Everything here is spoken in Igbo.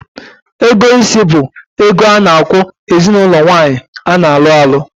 Ego isi bu ego a na-akwu ezinaulo nwaanyi a na-alu alu